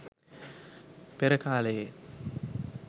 පෙර කාලයේ